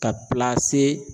Ka